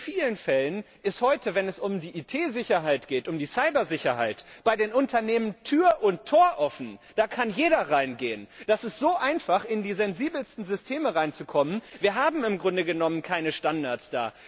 In vielen Fällen ist heute, wenn es um die IT Sicherheit geht, um die Cyber Sicherheit, bei den Unternehmen Tür und Tor offen da kann jeder hineingehen. Das ist so einfach, in die sensibelsten Systeme reinzukommen wir haben da im Grunde genommen keine Standards.